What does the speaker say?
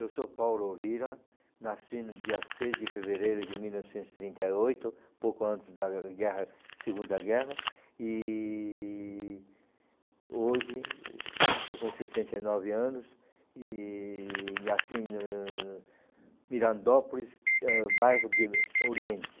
Eu sou Paulo Orrira, nasci no dia seis de fevereiro de mil novecentos e trinta e oito,, pouco antes da guerra, Segunda Guerra, e hoje estou com sessenta e nove anos e nasci no no Mirandópolis, ãh, bairro de Oriente.